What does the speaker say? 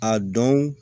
A dɔn